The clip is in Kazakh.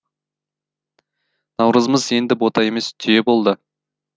наурызымыз енді бота емес түйе болды